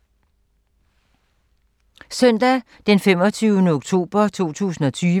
Søndag d. 25. oktober 2020